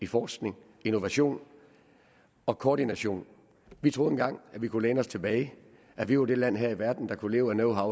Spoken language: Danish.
forskning innovation og koordination vi troede engang at vi kunne læne os tilbage at vi var det land her i verden der kunne leve af